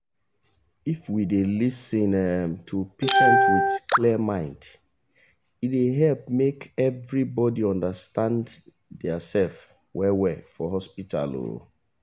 if we dey lis ten um to patient with clear mind e dey help make everybodi understand theirself well well for hospital um